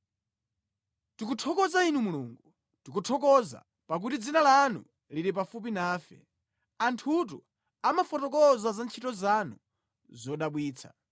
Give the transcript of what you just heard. Tikuthokoza Inu Mulungu, tikuthokoza, pakuti dzina lanu lili pafupi nafe, anthutu amafotokoza za ntchito zanu zodabwitsa.